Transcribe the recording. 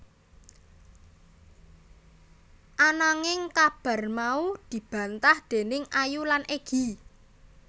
Ananging kabar mau dibantah déning Ayu lan Egy